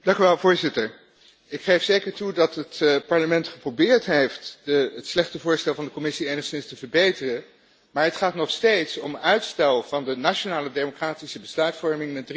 Ik geef zeker toe dat het Parlement geprobeerd heeft het slechte voorstel van de Commissie enigszins te verbeteren, maar het gaat nog steeds om uitstel van de nationale democratische besluitvorming met drie tot zes maanden.